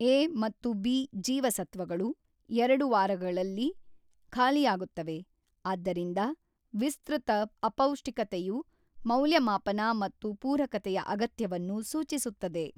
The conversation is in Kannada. ಎ ಮತ್ತು ಬಿ ಜೀವಸತ್ವಗಳು ಎರಡು ವಾರಗಳಲ್ಲಿ ಖಾಲಿಯಾಗುತ್ತವೆ, ಆದ್ದರಿಂದ ವಿಸ್ತೃತ ಅಪೌಷ್ಟಿಕತೆಯು ಮೌಲ್ಯಮಾಪನ ಮತ್ತು ಪೂರಕತೆಯ ಅಗತ್ಯವನ್ನು ಸೂಚಿಸುತ್ತದೆ.